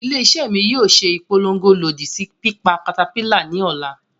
Ile-iṣẹ mi yoo ṣe ipolongo lodi si pipa caterpillar ni ọla.